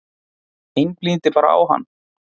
Einblíndi bara á hann.